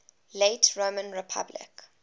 late roman republic